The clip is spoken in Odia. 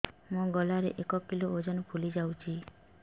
ମୋ ଗଳା ଏକ କିଲୋ ଓଜନ ଫୁଲି ଯାଉଛି